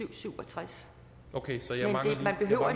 og syv og tres man behøver